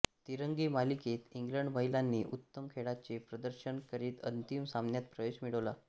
तिरंगी मालिकेत इंग्लंड महिलांनी उत्तम खेळाचे प्रदर्शन करीत अंतिम सामन्यात प्रवेश मिळवला